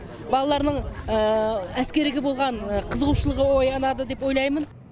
балаларының әскерге болған қызығушылығы оянады деп ойлаймын